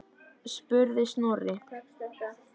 spurði Snorri.